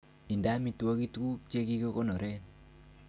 Indee amitwogik tuguk che kikonoreen.